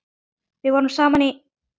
Við vorum saman í